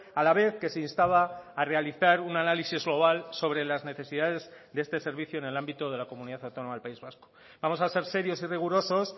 a la vez que se instaba a realizar un análisis global sobre las necesidades de este servicio en el ámbito de la comunidad autónoma del país vasco vamos a ser serios y rigurosos